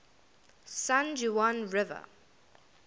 san juan river